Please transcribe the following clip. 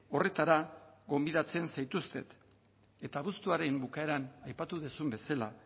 horretara gonbidatzen zaituztet eta abuztuaren bukaeran aipatu duzun bezala